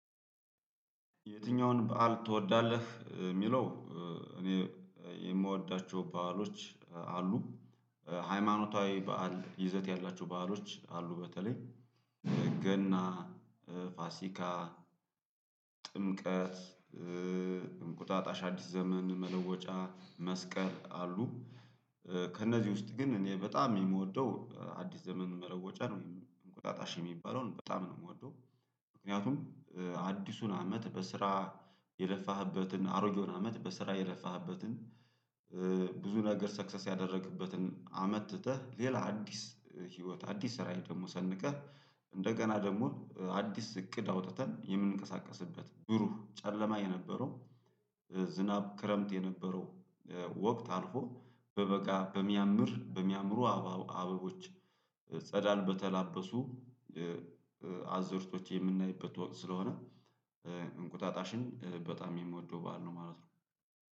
የትኛውን በዓል ትወዳለህ የሚለው? እኔ የምወዳቸው በዓሎች አሉ ሃይማኖታዊ በዓል ይዘት ያላቸው በዓሎች አሉ በተለይ ገና ፋሲካ ጥምቀት እንቁጣጣሽ አዲስ ዘመን መለወጫ መስቀል አሉ። ከእነዚህ ውስጥ ግን እኔ በጣም የምወደው አዲስ ዘመኑን መለወጫ ነው እንቁጣጣሽ የሚባለውን በጣም ነው የምወደው። ምክንያቱም አዲሱን አመት በስራ የለፋህበትን አሮጌውን አመት በስራ የለፋህበትን ብዙ ነገር ሰክሰስ ያደረግበትን አመት ትተህ ሌላ አዲስ ህይወት አዲስ ራዕይ ደግሞ ሰንቀህ እንደገና ደግሞ አዲስ እቅድ አውጥተን የምንቀሳቀስበት ብሩህ ጨለማ የነበረው ዝናብ ክረምት የነበረው ወቅት አልፎ በበጋ በሚያምር በሚያምሩ አበቦች ጸዳል በተላበሱ አዝርቶች የምናይበት ወቅት ስለሆነ። እንቁጣጣሽን በጣም የምወደው ባህል ነው ማለት ነው።